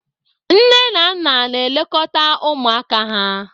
Nne na nna na-elekọta ụmụaka ha